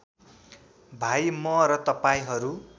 भाइ म र तपाईँहरू